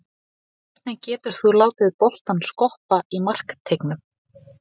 Hvernig getur þú látið boltann skoppa í markteignum?